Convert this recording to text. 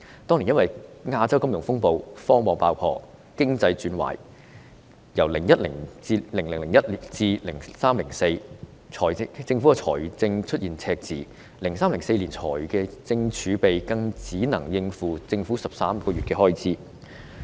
當年因為亞洲金融風暴、科網爆破，經濟轉壞等問題，因此政府在2001年至2004年出現財政赤字 ，2003-2004 年度財政儲備只能應付政府13個月開支。